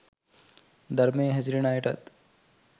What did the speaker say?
ධර්මයේ හැසිරෙන අයටත්